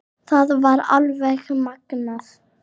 Það var alveg magnað.